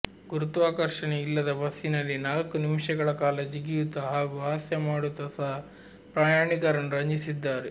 ಗುರುತ್ವಾಕರ್ಷನೆ ಇಲ್ಲದ ಬಸ್ಸಿನಲ್ಲಿ ನಾಲ್ಕು ನಿಮಿಷಗಳ ಕಾಲ ಜೀಗಿಯುತ್ತ ಹಾಗೂ ಹಾಸ್ಯ ಮಾಡುತ್ತ ಸಹ ಪ್ರಯಾಣಿಕರನ್ನು ರಂಜಿಸಿದ್ದಾರೆ